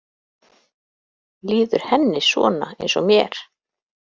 Líður henni svona eins og mér?